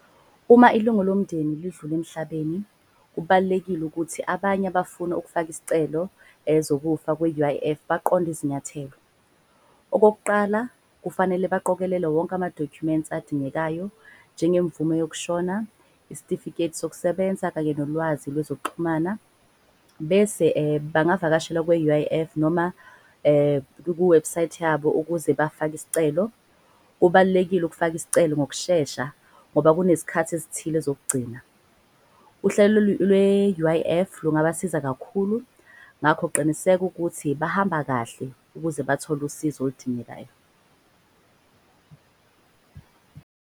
Uma ilungu lomndeni lidlule emhlabeni, kubalulekile ukuthi abanye abafuna ukufaka iscelo ezokuphepha kwe-U_I_F, baqonde izinyathelo. Okokuqala kufanele baqokelele wonke amadokhumenti adingekayo njenge mvume yokushona. Isitifiketi sokusebenza kanye nolwazi lwezokuxhumana. Bese bangavakashela kwa-U_I_F noma kuwebhusayithi yabo ukuze bafake iscelo. Kubalulekile ukufaka iscelo ngokushesha ngoba kunezikhathi ezithile zokugcina. Uhlelo lwe-U_I_F lungabasiza kakhulu, ngakho qiniseka ukuthi bahamba kahle. Ukuze bathole usizo oludingekayo.